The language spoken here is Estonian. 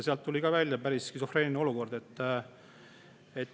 Sealt tuli välja päris skisofreeniline olukord.